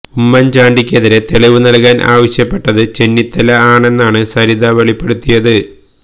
ഉമ്മൻ ചാണ്ടിക്കെതിരെ തെളിവ് നൽകാൻ ആവശ്യപ്പെട്ടത് ചെന്നിത്തല ആണെന്നാണ് സരിത വെളിപ്പെടുത്തിയത്